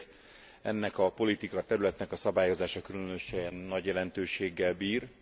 Ezért ennek a politikaterületnek a szabályozása különösen nagy jelentőséggel bír.